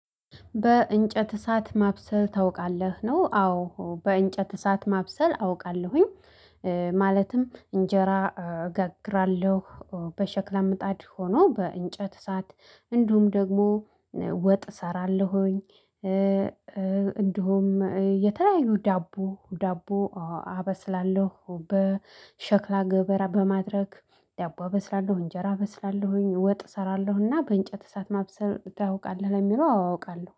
በእንጨት እሳት ማብሰል ታውቃለህ ነው? አዎ በእንጨት እሳት ማብሰል አውቃለሁኝ። ማለትም እንጀራ እገግራለሁ በሸክላ ምጣድ ሆኖ በእንጨት ሰዓት እንዲሁም ደግሞ ወጥ እሰራለሁኝ። እንዲሁም የተለያዩ ዳቦ ዳቦ አበስላለሁ በሸክላ ገበራ በማድረግ ዳቦ አበስላለሁ እንጀራ እበስላለሁኝ። ወጥ እሰራለሁና በእንጨት እሳት ማብሰል ታውቃለህ ለሚለው አው አውቃለሁ